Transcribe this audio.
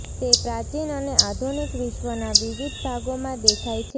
તે પ્રાચીન અને આધુનિક વિશ્વના વિવિધ ભાગોમાં દેખાય છે